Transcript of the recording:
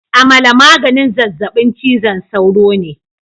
Amala maganin zazzabin cizon sauro ne